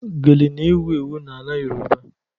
Gele n'ewu ewu n'ala yoruba